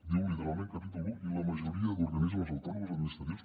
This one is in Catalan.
diu literalment capítol un i la majoria d’organismes autònoms administratius